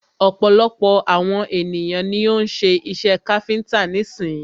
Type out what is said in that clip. Ọ̀pọ̀lọpọ̀ àwon ènìyàn ni o ń́ ṣe iṣẹ káfíńńtà nísin.